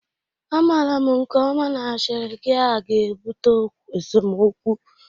Amara m nke ọma na ashịrị gia ga-ebute esemokwu